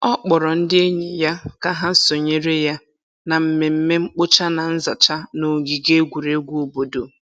Ọ kpọrọ ndị enyi ya ka ha sonyere ya na mmemme mkpocha na nzacha n'ogige egwuregwu obodo.